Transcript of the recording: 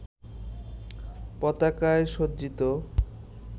পতাকায় সজ্জিত